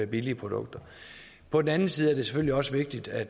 billigere produkter på den anden side er det selvfølgelig også vigtigt at